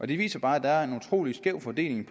det viser bare at der er en utrolig skæv fordeling